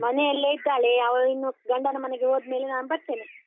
ಮನೆಯಲ್ಲೇಇದ್ದಾಳೆ, ಅವಳು ಇನ್ನು ಗಂಡನ ಮನೆಗೆ ಹೋದ್ಮೇಲೆ ನಾನ್ ಬರ್ತೇನೆ.